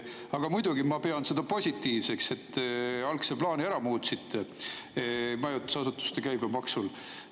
Aga muidugi ma pean seda positiivseks, et te majutusasutuste käibemaksuga seotud algse plaani ära muutsite.